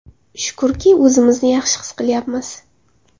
Shukrki, o‘zimizni yaxshi his qilyapmiz.